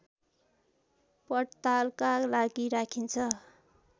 पड्तालका लागि राखिन्छ